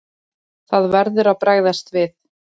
Það verður að bregðast við.